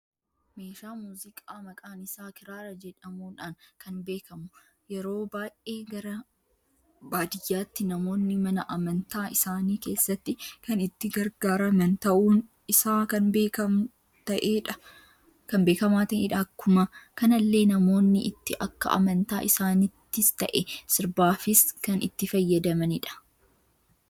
Messhaa muuziqaa maqaan isaa kiraara jedhamuudhan kan beekamu, yeroo baay'ee gara baadiyyaatti namoonni mana amantaa isaanii keessatti kan itti gargaaraman ta'un isaa kan beekama ta'edha. Akkuma kanallee namoonni itti akka amantaa isaanittis ta'e, sirbaafis kan itti fayyadamanidha.